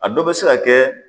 A dɔ bɛ se ka kɛ